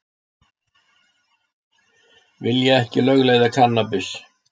Vilja ekki lögleiða kannabis